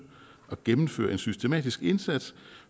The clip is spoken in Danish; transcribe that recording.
at gennemføre en systematisk indsats